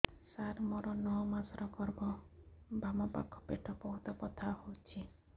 ସାର ମୋର ନଅ ମାସ ଗର୍ଭ ବାମପାଖ ପେଟ ବହୁତ ବଥା ହଉଚି